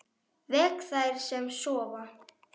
Vek þær sem sofa.